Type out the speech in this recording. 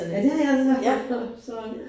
Ja det har jeg altså haft gjort så